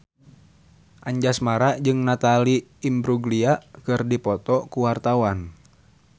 Anjasmara jeung Natalie Imbruglia keur dipoto ku wartawan